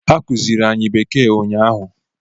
Ha kuziri anyị bekee ụnyaahụ.